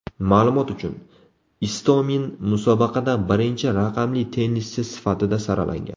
Ma’lumot uchun, Istomin musobaqada birinchi raqamli tennischi sifatida saralangan.